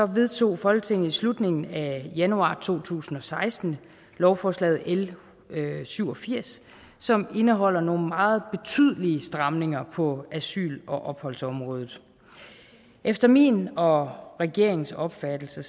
vedtog folketinget i slutningen af januar to tusind og seksten lovforslag l syv og firs som indeholder nogle meget betydelige stramninger på asyl og opholdsområdet efter min og regeringens opfattelse